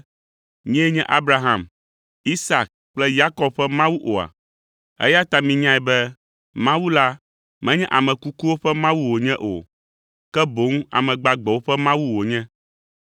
‘Nyee nye Abraham, Isak kple Yakob ƒe Mawu’ oa? Eya ta minyae be Mawu la menye ame kukuwo ƒe Mawu wònye o, ke boŋ ame gbagbewo ƒe Mawu wònye.”